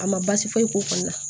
A ma baasi foyi k'o kɔni na